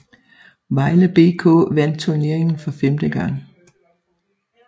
Vejle BK vandt turneringen for femte gang